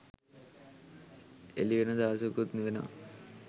එළිවෙන දවසකුත් වෙනවා.